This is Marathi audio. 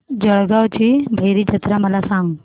जळगाव भैरी जत्रा मला सांग